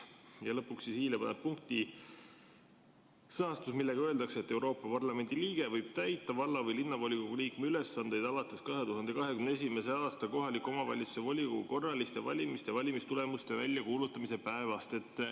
" Ja lõpuks paneb i-le punkti järgmine sõnastus: "Euroopa Parlamendi liige võib täita valla- või linnavolikogu liikme ülesandeid alates 2021. aasta kohaliku omavalitsuse volikogu korraliste valimiste valimistulemuste väljakuulutamise päevast.